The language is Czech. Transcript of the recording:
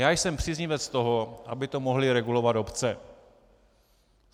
Já jsem příznivec toho, aby to mohly regulovat obce.